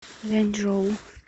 ляньчжоу